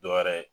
Dɔ wɛrɛ ye